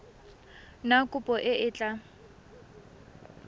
na kopo e e tla